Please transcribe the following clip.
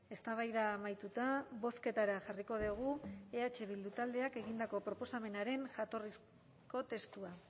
eztabaida amaituta bozketara jarriko dugu eh bildu taldeak egindako proposamenaren jatorrizko testua